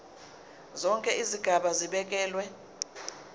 zonke izigaba zibekelwe